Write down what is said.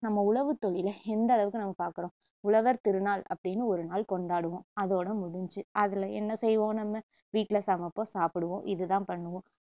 நம்ம உழவுத்தொழிலை எந்த அளவுக்கு நம்ம பாக்குறோம் உழவர் திருநாள் அப்படின்னு ஒரு நாள் கொண்டாடுவோம் அதோட முடிஞ்சு அதுல என்ன செய்வோம் நம்ம வீட்டுல சமைப்போம் சாப்புடுவோம் இதுதான் பண்ணுவோம்